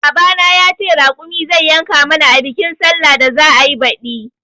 Baba na ya ce raƙumi zai yanka mana a bikin sallan da za'ayi baɗi